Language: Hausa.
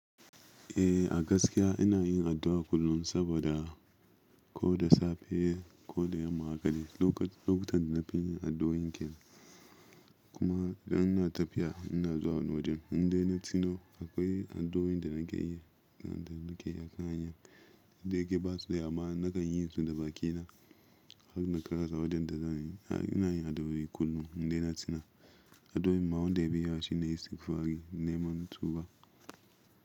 Eh a gaskiya ina yin addu'a kullun saboda ko da safe ko da yamma hakade. Lokutan da na fi yin addu'o'in kenan, kuma idan ina tafiya ina zuwa wani waje. Inde na tuno akwai addu'o'in da nake yi akan hanya, da yake basu da yawa na kan yi su da bakina har na karasa wajen da zani. Ina yin addu'a kullum inda na tuna addu'o'in ma wanda beda yawa shi ne, istigfari neman tuba.